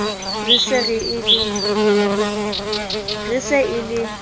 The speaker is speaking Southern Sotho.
re e se e le